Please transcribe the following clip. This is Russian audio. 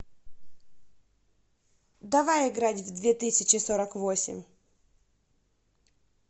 давай играть в две тысячи сорок восемь